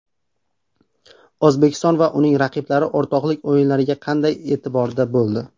O‘zbekiston va uning raqiblari o‘rtoqlik o‘yinlariga qanday e’tiborda bo‘ldi?.